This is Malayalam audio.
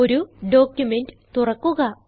ഒരു ഡോക്യുമെന്റ് തുറക്കുക